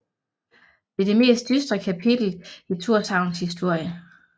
Det er det mest dystre kapitel i Tórshavns historie